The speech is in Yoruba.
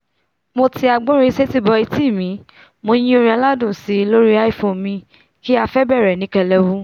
mo ti agbórinsétí bọ̀ ẹtí mo yín ọrin aládùn síi lóri iphone mi kí afẹ́ bẹ̀rẹ̀ ní kẹlẹwu